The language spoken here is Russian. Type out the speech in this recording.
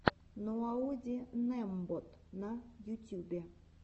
ноаодинэмбот на ютюбе